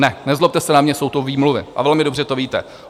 Ne, nezlobte se na mě, jsou to výmluvy a velmi dobře to víte.